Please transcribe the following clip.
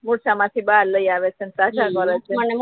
મૂરછા માથી બાહર લઈ આવે અને તાજા કરે છે